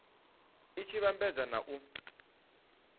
i tshi vhambedzwa na u